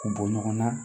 K'u bɔ ɲɔgɔn na